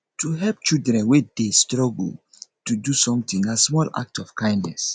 to help children wey de struggle to do something na small act of kindness